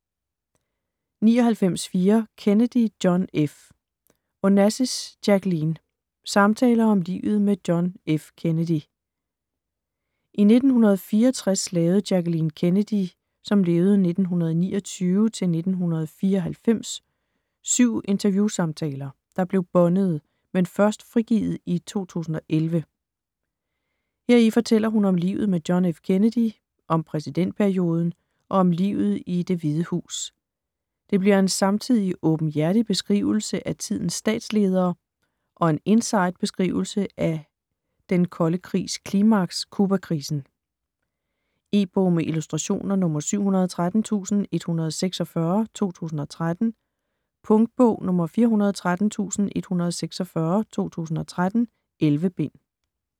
99.4 Kennedy, John F. Onassis, Jacqueline: Samtaler om livet med John F. Kennedy I 1964 lavede Jacqueline Kennedy (1929-1994) 7 interviewsamtaler, der blev båndede, men først frigivet i 2011. Heri fortæller hun om livet med John F. Kennedy, om præsidentperioden og om livet i Det Hvide Hus. Det bliver en samtidig en åbenhjertig beskrivelse af tidens statsledere og og en inside beskrivelse af en den kolde krigs klimaks: Cubakrisen. E-bog med illustrationer 713146 2013. Punktbog 413146 2013. 11 bind.